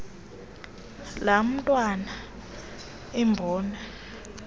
laa ntwana imbona